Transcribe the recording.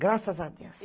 Graças a Deus.